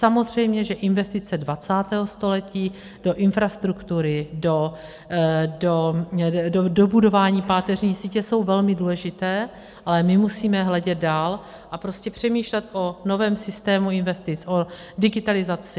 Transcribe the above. Samozřejmě, že investice 20. století do infrastruktury, do dobudování páteřní sítě, jsou velmi důležité, ale my musíme hledět dál a prostě přemýšlet o novém systému investic, o digitalizaci.